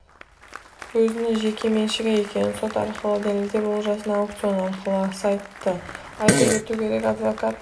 өзінің жеке меншігі екенін сот арқылы дәлелдеп олжасын аукцион арқылы сатты айта кету керек адвокат